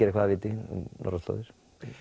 eitthvað af viti um norðurslóðir